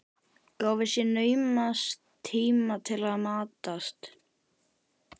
Gáfu sér naumast tíma til að matast.